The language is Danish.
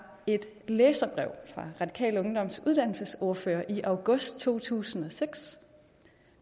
et læserbrev fra radikal ungdoms uddannelsesordfører i august to tusind og seks